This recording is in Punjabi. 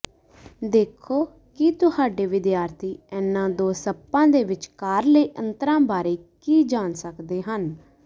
ਦੇਖੋ ਕਿ ਤੁਹਾਡੇ ਵਿਦਿਆਰਥੀ ਇਨ੍ਹਾਂ ਦੋ ਸੱਪਾਂ ਦੇ ਵਿਚਕਾਰਲੇ ਅੰਤਰਾਂ ਬਾਰੇ ਕੀ ਜਾਣ ਸਕਦੇ ਹਨ